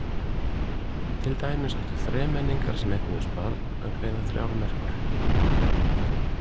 Til dæmis áttu þremenningar sem eignuðust barn að greiða þrjár merkur.